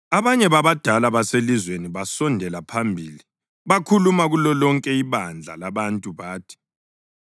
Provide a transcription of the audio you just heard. Abanye babadala baselizweni basondela phambili bakhuluma kulolonke ibandla labantu bathi,